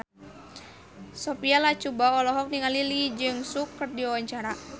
Sophia Latjuba olohok ningali Lee Jeong Suk keur diwawancara